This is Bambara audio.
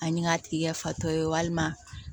Ani k'a tigi kɛ fatɔ ye walima